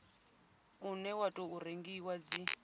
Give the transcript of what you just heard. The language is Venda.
une wa tou rengiwa dzi